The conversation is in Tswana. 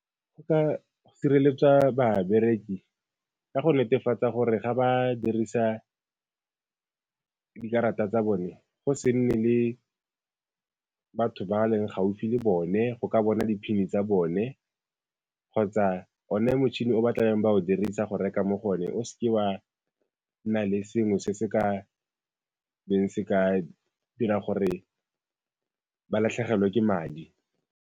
Go ka sireletswa babereki ka go netefatsa gore ga ba dirisa dikarata tsa bone, go se nne le batho ba ba leng gaufi le bone go ka bona di pin tsa bone kgotsa one motšhini o ba tla beng ba o dirisa go reka mo go one o se ke wa nna le sengwe se se ka beng se ka dira gore ba latlhegelwe ke madi.